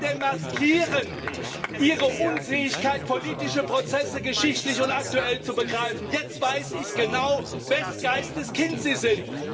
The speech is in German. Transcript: Sie demaskieren ihre Unfähigkeit, politische Prozesse geschichtlich und aktuell zu begreifen. Jetzt weiß ich genau, wes Geistes Kind sie sind.